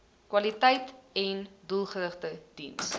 kwaliteiten doelgerigte diens